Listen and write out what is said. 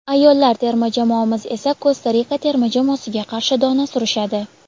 ayollar terma jamoamiz esa Kosta Rika terma jamoasiga qarshi dona surishadi.